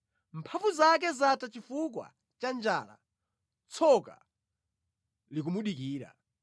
Mphamvu zake zatha chifukwa cha njala, tsoka likumudikira.